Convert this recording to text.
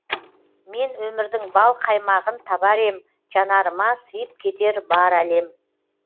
мен өмірдің бал қаймағын табар ем жанарыма сыйып кетер бар әлем